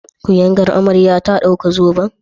Kuyangar amarya ta dauki zoben?